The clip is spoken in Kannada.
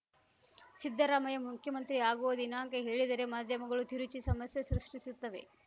ಸಿದ್ದರಾಮಯ್ಯ ಮುಖ್ಯಮಂತ್ರಿ ಆಗುವ ದಿನಾಂಕ ಹೇಳಿದರೆ ಮಾಧ್ಯಮಗಳು ತಿರುಚಿ ಸಮಸ್ಯೆ ಸೃಷ್ಟಿಸುತ್ತವೆ